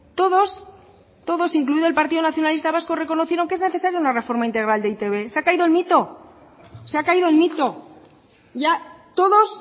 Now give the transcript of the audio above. todos todos incluido el partido nacionalista vasco reconocieron que es necesario una reforma integral de e i te be se ha caído el mito se ha caído el mito ya todos